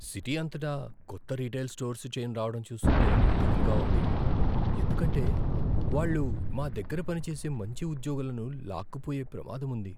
City అంతటా కొత్త retail stores chain రావడం చూస్తుంటే దిగులుగా ఉంది, ఎందుకంటే వాళ్ళు మా దగ్గర పనిచేసే మంచి ఉద్యోగులను లాక్కుపోయే ప్రమాదం ఉంది.